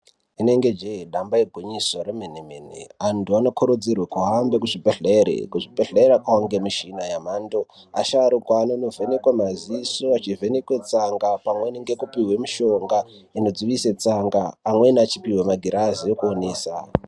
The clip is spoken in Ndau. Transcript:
Rinenge jee, damba igwinyiso remene mene. Antu anokurudzirwe kuhamba kuzvibhedhlere. Kuzvibedhlere kwangemishina yemhando. Asharukwa anonovhenekwa maziso achivhenekwe tsanga pamweni ngekupihwe mishonga inodzivise tsanga amweni achipihwe magirazi ekuonesa.